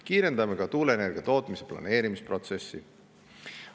Kiirendame ka tuuleenergia tootmise planeerimisprotsessi.